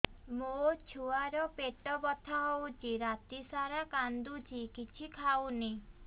ମୋ ଛୁଆ ର ପେଟ ବଥା ହଉଚି ରାତିସାରା କାନ୍ଦୁଚି କିଛି ଖାଉନି